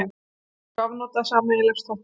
Skiptingu afnota sameiginlegs þvottahúss.